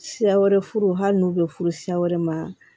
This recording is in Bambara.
Siya wɛrɛ furu hali n'u bɛ furu siya wɛrɛ ma